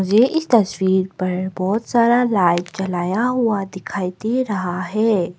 ये इस तस्वीर पर बहोत सारा लाइट जलाया हुआ दिखाई दे रहा है।